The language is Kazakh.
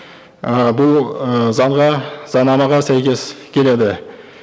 і бұл ы заңға заңнамаға сәйкес келеді